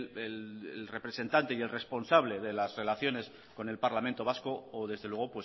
el representante y el responsable de las relaciones con el parlamento vasco o desde luego